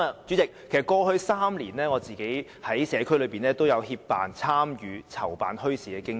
主席，過去3年，我在社區內也有協辦、參與和籌辦墟市的經驗。